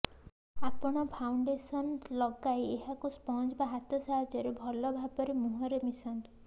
ଆପଣ ଫାଉଣ୍ଡେସନ ଲଗାଇ ଏହାକୁ ସ୍ପଞ୍ଜ ବା ହାତ ସାହାର୍ୟ୍ୟରେ ଭଲଭାବେ ମୁହଁରେ ମିଶାନ୍ତୁ